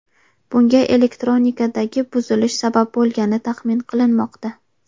Bunga elektronikadagi buzilish sabab bo‘lgani taxmin qilinmoqda.